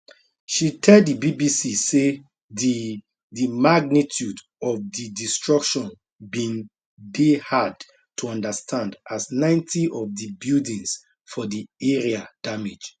she tell di bbc say di di magnitude of di destruction bin dey hard to understand as 90 of di buildings for di area damage